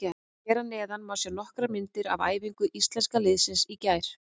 Hér að neðan má sjá nokkrar myndir af æfingu Íslenska liðsins í gær.